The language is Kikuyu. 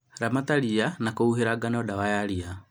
Ramata ria na kũhuhĩra ngano dawa ya ria